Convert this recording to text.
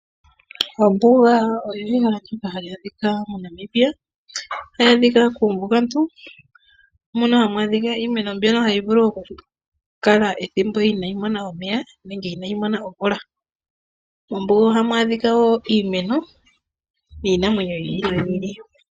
Ombuga oyili hayi adhika moNamibia, ohayi adhika kuumbugantu mono hamu adhikwa iimeno mbyoka hayi vulu okukala ethimbo inayi mona omeya, nenge inayi mona omvula. Mombuga ohamu adhikwa wo iimeno niinamwenyo yi ili noyi ili.